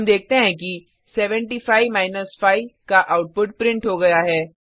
हम देखते हैं कि 75 5 का आउटपुट प्रिंट हो गया है